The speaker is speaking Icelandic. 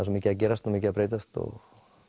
svo mikið að gerast og mikið að breytast